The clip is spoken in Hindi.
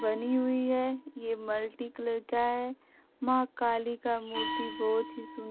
बनी हुए है ये मल्टीकलर का है मां काली का मूर्ती बहोत ही सुन् --